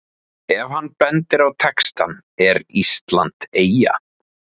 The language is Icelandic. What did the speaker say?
Ef hann bendir á textann ER ÍSLAND EYJA?